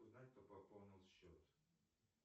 узнать кто пополнил счет